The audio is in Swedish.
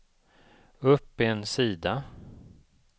upp en sida